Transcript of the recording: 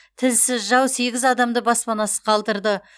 тілсіз жау сегіз адамды баспанасыз қалдырды